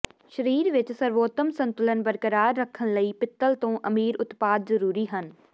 ਸਰੀਰ ਵਿਚ ਸਰਵੋਤਮ ਸੰਤੁਲਨ ਬਰਕਰਾਰ ਰੱਖਣ ਲਈ ਪਿੱਤਲ ਤੋਂ ਅਮੀਰ ਉਤਪਾਦ ਜ਼ਰੂਰੀ ਹਨ